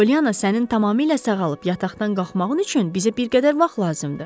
Pollyana, sənin tamamilə sağalıb yataqdan qalxmağın üçün bizə bir qədər vaxt lazımdır.